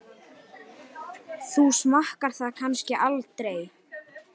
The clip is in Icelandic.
Þú smakkar það kannski aldrei?